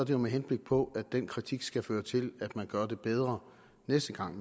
jo med henblik på at den kritik skal føre til at man gør det bedre næste gang